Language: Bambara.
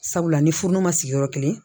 Sabula ni furu ma sigi yɔrɔ kelen